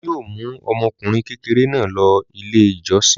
Olu yóò mú ọmọkùnrin kékeré náà lọ Ilé-ìjọsìn.